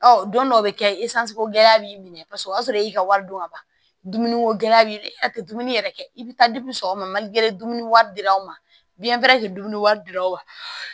Ɔ don dɔw bɛ kɛ gɛlɛya b'i minɛ paseke o y'a sɔrɔ e y'i ka wari dun ka ban dumuniko gɛlɛya b'i a tɛ dumuni yɛrɛ kɛ i bɛ taa sɔgɔmade dumuni wari di lr'an ma biyɛntɛri tɛ dumuni wari di l'anw ma